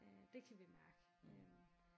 Øh dét kan vi mærke øh